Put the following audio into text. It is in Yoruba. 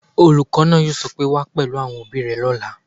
Olùkọ́ náà yóò sọ pé "wá pẹ̀lú àwọn òbí rẹ ní ọ̀la!"